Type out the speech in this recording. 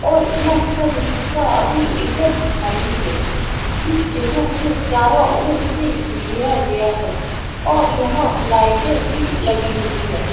और यह सब रिक्शा अभी एकदम खाली है इस जगह को चारों ओर से घेरा गया है और यहाँ लाइट भी लगी हुई हैं।